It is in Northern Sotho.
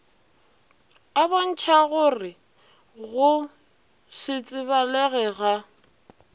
a bontšhagore go setsebalege ga